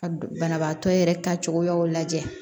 Ka banabaatɔ yɛrɛ ta cogoyaw lajɛ